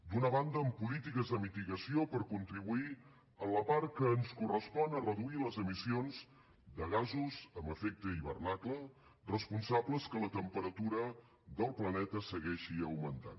d’una banda amb polítiques de mitigació per contribuir en la part que ens correspon a reduir les emissions de gasos amb efecte hivernacle responsables que la temperatura del planeta segueixi augmentant